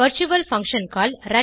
virtual function call